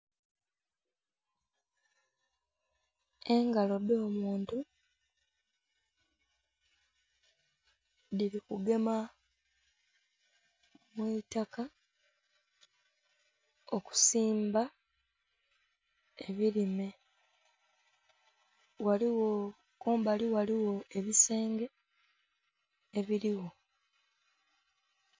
Engalo edh'omuntu dhili kugema mwiitaka okusimba ebilime ghaligho kumbali ghaligho ebisenge ebiligho.